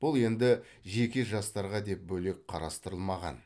бұл енді жеке жастарға деп бөлек қарастырылмаған